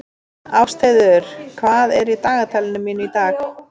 Ástheiður, hvað er í dagatalinu mínu í dag?